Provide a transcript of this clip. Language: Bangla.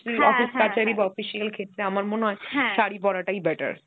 office কাচারি বা official ক্ষেত্রে আমার মনে হয় শাড়ি পরাটাই better